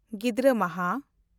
ᱜᱤᱫᱽᱨᱟᱹ ᱢᱟᱦᱟ